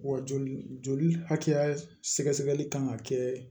Wa joli joli hakɛya sɛgɛsɛgɛli kan ka kɛ